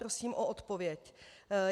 Prosím o odpověď.